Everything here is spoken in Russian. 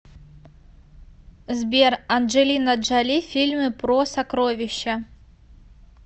сбер анджелина джоли фильмы про сокровища